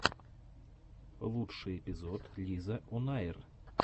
лучший эпизод лизаонайр